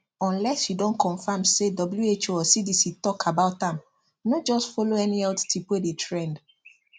unless you don confirm say who or cdc talk about am no just follow any health tip wey dey trend